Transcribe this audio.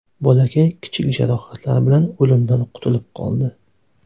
Bolakay kichik jarohatlar bilan o‘limdan qutulib qoldi.